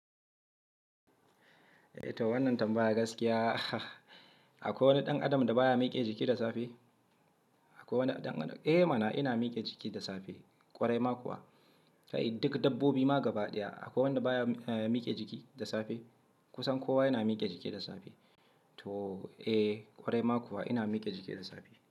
Eh to wannan tambaya gaskiya. Akwai wani ɗan adam da baya miƙe jiki da safe? Akwai wani ɗan-- eh mana ina miƙe jiki da safe, ƙwarai ma kuwa. Kai duk dabbobi ma gaba ɗaya akwai wanda baya, eh miƙe jiki da safe. Kusan kowa yana miƙe jiki da safe. To eh ƙwarai ma kuwa ina miƙe jiki da safe.